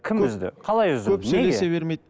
кім үзді қалай үзді көп сөйлесе бермейді